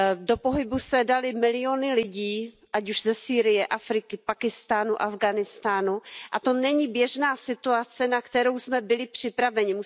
Do pohybu se daly miliony lidí, ať už ze Sýrie, Afriky, Pákistánu, Afghánistánu, a to není běžná situace, na kterou jsme byli připraveni.